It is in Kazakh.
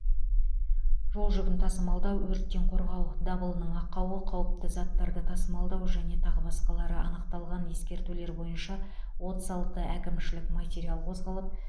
жол жүгін тасымалдау өрттен қорғау дабылының ақауы қауіпті заттарды тасымалдау және тағы басқалары анықталған ескертулер бойынша отыз алты әкімшілік материал қозғалып